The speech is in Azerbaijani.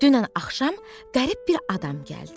Dünən axşam qərib bir adam gəldi.